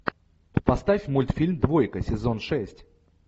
поставь мультфильм двойка сезон шесть